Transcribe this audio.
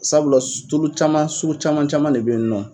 Sabula tulu caman sugu caman caman de be yen nɔ.